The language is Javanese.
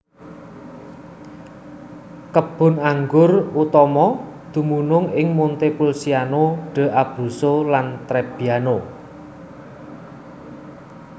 Kebun anggur utama dumunung ing Montepulciano d Abruzzo lan Trebbiano